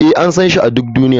Ee, an san shi a duk duniya.